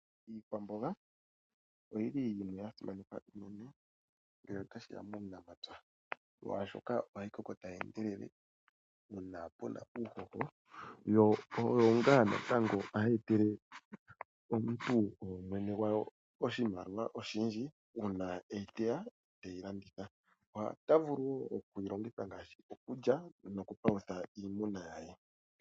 Iikwamboga oya simanekwa unene ngele otashi ya puunamapya, oshoka ohayi koko tayi endelele ngele pu na uuhoho yo oyo ngaa natango hayi etele mwene gwawo oshimaliwa oshindji ngele e yiteya e te yi landitha. Ota vulu okuyi longitha ngaashi okulya nokupalutha iimuna ye.